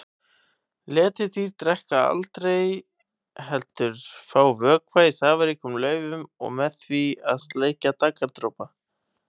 Letidýr drekka aldrei heldur fá vökva í safaríkum laufum og með því að sleikja daggardropa.